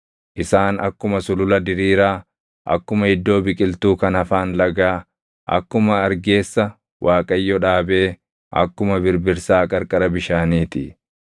“Isaan akkuma sulula diriiraa, akkuma iddoo biqiltuu kan afaan lagaa, akkuma argeessa Waaqayyo dhaabee, akkuma birbirsaa qarqara bishaanii ti.